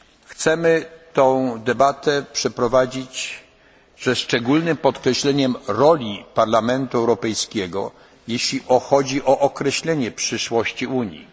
raz pierwszy. Chcemy tę debatę przeprowadzić ze szczególnym podkreśleniem roli Parlamentu Europejskiego, jeśli chodzi o określenie przyszłości